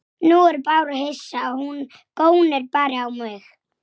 Má ekki bjóða þér öl?